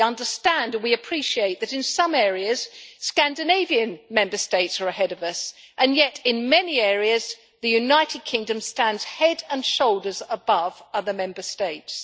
We understand, we appreciate that in some areas Scandinavian Member States are ahead of us, and yet in many areas the United Kingdom stands heads and shoulders above other Member States.